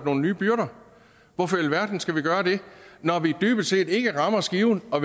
nogle nye byrder hvorfor i alverden skal vi gøre det når vi dybest set ikke rammer skiven for